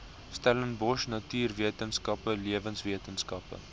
stellenbosch natuurwetenskappe lewenswetenskappe